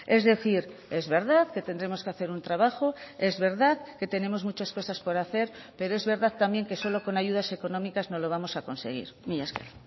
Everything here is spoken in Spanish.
es decir es verdad que tendremos que hacer un trabajo es verdad que tenemos muchas cosas por hacer pero es verdad también que solo con ayudas económicas no lo vamos a conseguir mila esker